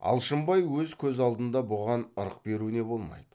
алшынбай өз көз алдында бұған ырық беруіне болмайды